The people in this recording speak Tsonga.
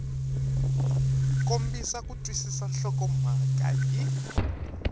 kombisa ku twisisa nhlokomhaka hi